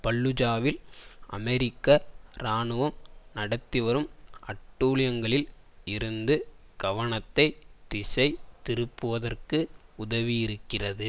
பல்லூஜாவில் அமெரிக்க இராணுவம் நடத்திவரும் அட்டூழியங்களில் இருந்து கவனத்தை திசை திருப்புவதற்கு உதவியிருக்கிறது